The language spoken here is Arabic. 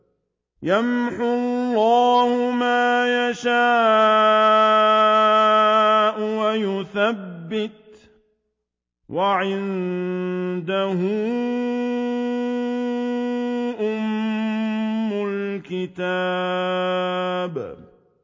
يَمْحُو اللَّهُ مَا يَشَاءُ وَيُثْبِتُ ۖ وَعِندَهُ أُمُّ الْكِتَابِ